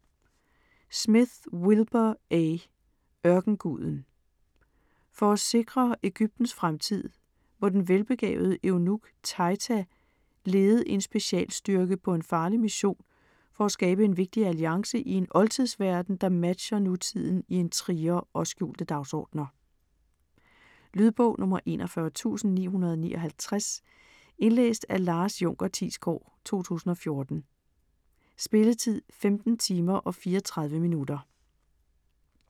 Smith, Wilbur A.: Ørkenguden For at sikre Egyptens fremtid, må den velbegavede eunuk Taita lede en specialstyrke på en farlig mission for at skabe en vigtig alliance i en oldtidsverden, der matcher nutiden i intriger og skjulte dagsordener. Lydbog 41959 Indlæst af Lars Junker Thiesgaard, 2014. Spilletid: 15 timer, 34 minutter.